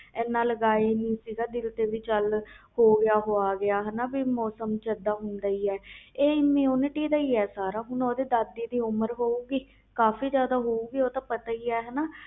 ਏਨਾ ਦਿਲ ਤੇ ਲਗਾਇਆ ਚਲੋ ਹੋ ਹੋਇਆ ਮੌਸਮ ਚ ਇਹਦਾ ਹੁੰਦਾ ਹੀ ਇਹ immunity ਤੇ ਸਾਰਾ ਹੁਣ ਉਹ ਦੇ ਦਾਦੀ ਦੀ ਉਮਰ ਹੋਏ ਗਈ ਕਾਫੀ